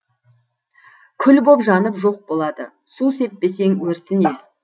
күл боп жанып жоқ болады су сеппесең өртіне